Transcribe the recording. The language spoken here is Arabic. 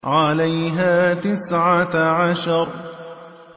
عَلَيْهَا تِسْعَةَ عَشَرَ